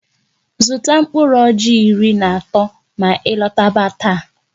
Zụta mkpụrụ ọjị iri na atọ ma ị lọtaba taa!